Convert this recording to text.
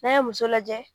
N'a ye muso lajɛ